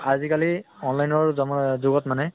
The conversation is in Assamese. তু আজি কালি online ৰ যমা আহ যুগত মানে